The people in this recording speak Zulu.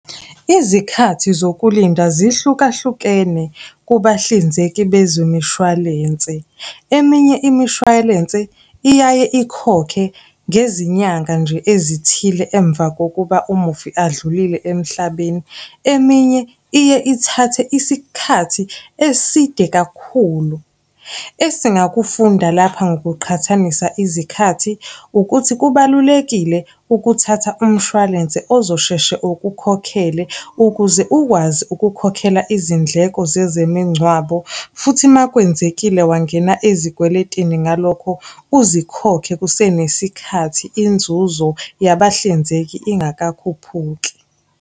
Izikhathi zokulinda zihlukahlukene kubahlinzeki bezemishwalense. Eminye imishwalense iyaye ikhokhe ngezinyanga nje ezithile emva kokuba umufi adlulile emhlabeni, eminye iye ithathe isikhathi eside kakhulu. Esingakufunda lapha ngokuqhathanisa izikhathi, ukuthi kubalulekile ukuthatha umshwalense ozosheshe ukukhokhele ukuze ukwazi ukukhokhela izindleko zezemingcwabo, futhi uma kwenzekile wangena ezikweletini ngalokho uzikhokhe kusenesikhathi inzuzo yabahlinzeki ingakakhuphuki.